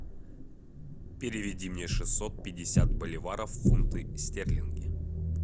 переведи мне шестьсот пятьдесят боливаров в фунты стерлинги